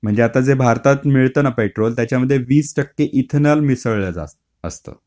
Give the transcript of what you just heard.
म्हणजे आता जे भारतात मिळत ना पेट्रोल त्याच्यामध्ये वीस टक्के इथेनॉल मिसळलेल असत.